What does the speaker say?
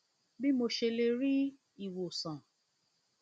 jọwọ sọ fún mi bí mo ṣe lè rí ìwòsàn